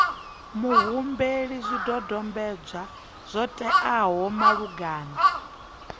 muhumbeli zwidodombedzwa zwo teaho malugana